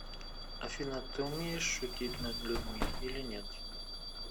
афина ты умеешь шутить над людьми или нет